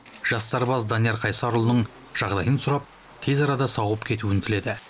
жас сарбаз данияр қайсарұлының жағдайын сұрап тез арада сауығып кетуін тіледі